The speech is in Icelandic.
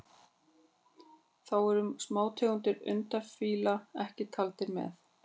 Þá eru smátegundir undafífla ekki taldar með.